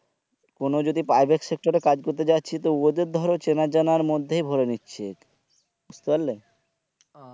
কোনো যদি private sector এ কাজ করতে যাচ্ছি তো ওদের ধরো চেনার জানার মধ্যেই ভোরে নিচ্ছে বুজতে পারলে